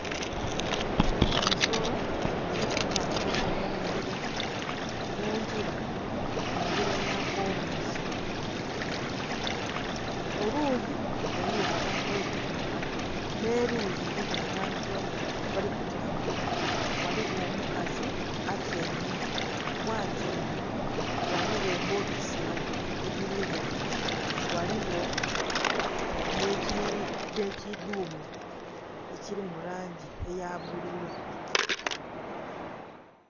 Ensolo eri kutambula mungila, mungila engila ya kolansi oluyi eriyo abantu abali kutambula nhe luyi eriyo abantu abali kutambula, ghaligho omukazi atyaime, ghatyaime ghaligho ebbokisi edhiligho ghaligho nhe kiddumiu ekiri mulangi eya bbululu.